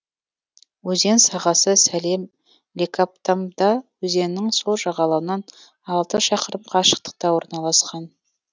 өзен сағасы салем лекабтамбда өзенінің сол жағалауынан алты шақырым қашықтықта орналасқан